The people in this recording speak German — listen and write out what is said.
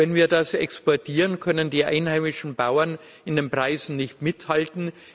Wenn wir das exportieren, können die einheimischen Bauern mit den Preisen nicht mithalten